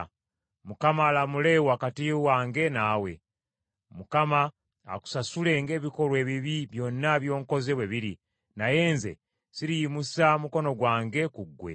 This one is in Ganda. Mukama alamule wakati wange naawe. Mukama akusasule ng’ebikolwa ebibi byonna by’onkoze bwe biri, naye nze siriyimusa mukono gwange ku ggwe.